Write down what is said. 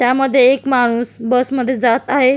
त्यामध्ये एक माणूस बसमध्ये जात आहे.